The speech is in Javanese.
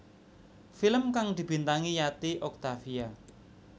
Film kang dibintangi Yati Octavia